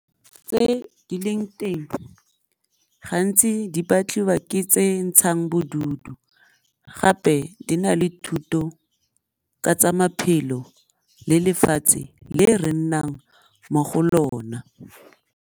Tse di leng teng gantsi di batliwa ke tse ntshang bodutu gape di na le thuto ka tsa maphelo le lefatshe le re nnang mo go lona.